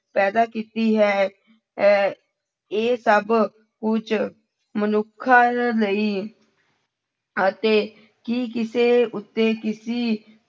ਪੈਦਾ ਕੀਤੀ ਹੈ ਹੈ, ਇਹ ਸਭ ਕੁੱਝ ਮਨੁੱਖਾਂ ਲਈ ਅਤੇ ਕੀ ਕਿਸੇ ਉੱਤੇ ਕਿਸੀ